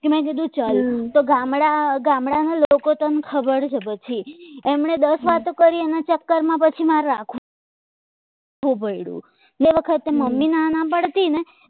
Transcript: મેં કીધું ચલ તો કે ગામડાના લોકો તને ખબર છે પછી એમણે દસ વાતો કરીને ચક્કરમાં પછી મારે રાખવું પડે તે વખતે મમ્મી ના પાડતી ને